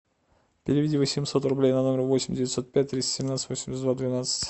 переведи восемьсот рублей на номер восемь девятьсот пять триста семнадцать восемьдесят два двенадцать